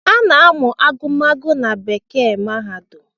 A na-amụ agụmagụ na bekee mahadum